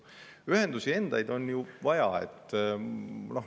Ühendusi endid on ju vaja.